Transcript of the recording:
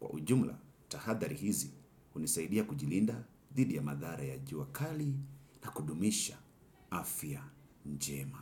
Kwa ujumla tahadhari hizi hunisaidia kujilinda dhidi ya madhara ya jua kali na kudumisha afya njema.